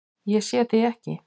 Ég sé þig ekki.